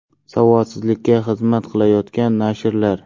Savodsizlikka xizmat qilayotgan nashrlar .